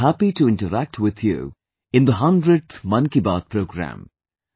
I am happy to interact with you in the 100th 'Mann Ki Baat' programme